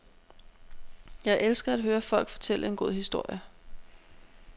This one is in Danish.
Jeg elsker at høre folk fortælle en god historie.